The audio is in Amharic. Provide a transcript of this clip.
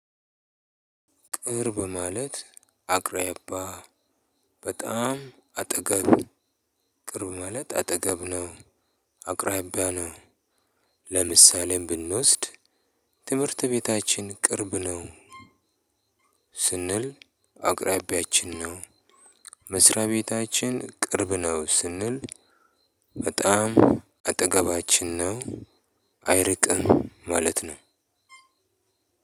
ቅርብ ማለት አቅራቢያ በጣም አጠገብ ቅርብ ማለት አጠገብ ነው አቅራቢያ ነው። ለምሳሌም ብንወስድ ትምህርት ቤታችን ቅርብ ነው። ስንል አቅራቢያችን ነው። መስሪያ ቤታችን ቅርብ ነው ስንል በጣም አጠገባችን ነው አይርቅም ማለት ነው።